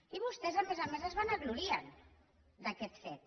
i vostès a més a més es vanaglorien d’aquest fet